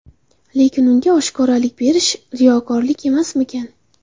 Lekin unga oshkoralik berish riyokorlik emasmikan?